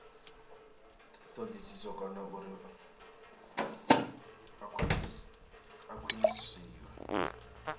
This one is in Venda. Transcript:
thodisiso kana uri a khwiniswe